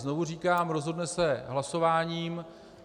Znovu říkám, rozhodne se hlasováním.